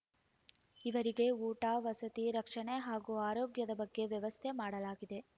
ಇವರಿಗೆ ಊಟ ವಸತಿ ರಕ್ಷಣೆ ಹಾಗೂ ಆರೋಗ್ಯದ ಬಗ್ಗೆ ವ್ಯವಸ್ಥೆ ಮಾಡಲಾಗಿದೆ